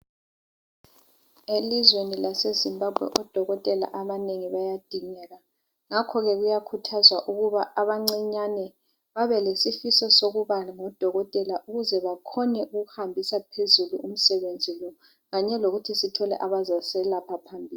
Elizweni laseZimbabwe odokotela abanengi bayadingeka. Ngakhoke kuyakhuthazwa ukuba abancinyane babe belesifiso sokuba ngodokotela ukuze bakhone ukuhambisa phezulu umsebenzi lo kanye lokuthi sithole abazaselapha phambili.